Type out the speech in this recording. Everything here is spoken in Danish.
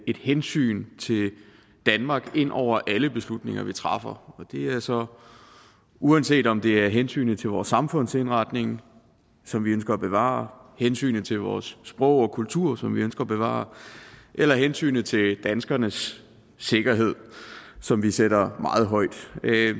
hensyn til danmark ind over alle beslutninger vi træffer og det er så uanset om det er hensynet til vores samfundsindretning som vi ønsker at bevare hensynet til vores sprog og kultur som vi ønsker at bevare eller hensynet til danskernes sikkerhed som vi sætter meget højt